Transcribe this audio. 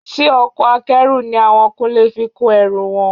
Ṣe ọkọ̀ Akẹ́rù ni àwọn Kúnlé fi kó ẹrù wọn?